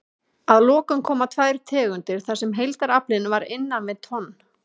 Að lokum koma tvær tegundir þar sem heildaraflinn var innan við tonn.